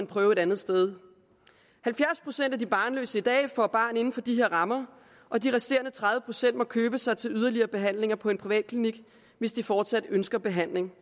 prøve et andet sted halvfjerds procent af de barnløse i dag får barn inden for de her rammer og de resterende tredive procent må købe sig til yderligere behandlinger på en privatklinik hvis de fortsat ønsker behandling